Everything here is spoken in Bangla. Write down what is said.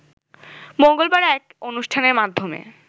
মঙ্গলবার এক অনুষ্ঠানের মাধ্যমে